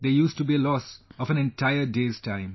There used to be a loss of an entire day's time